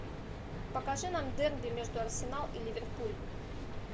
покажи нам дерби между арсенал и ливерпуль